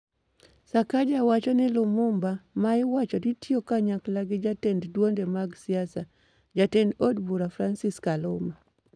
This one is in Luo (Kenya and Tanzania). Sakaja wacho ni Limumba ma iwacho ni tiyo kanyakla gi jatend duonde mag siasa, jatend od bura Francis Kaluma ,